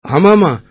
ஆமா ஆமா ஐ